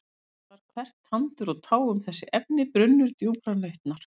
En mér var hvert tandur og tá um þessi efni brunnur djúprar nautnar.